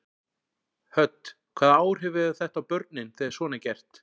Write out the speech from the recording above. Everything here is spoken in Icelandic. Hödd: Hvaða áhrif hefur þetta á börnin þegar svona er gert?